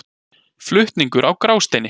Flutningur á Grásteini.